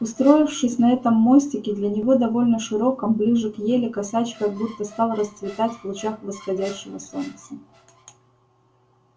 устроившись на этом мостике для него довольно широком ближе к ели косач как будто стал расцветать в лучах восходящего солнца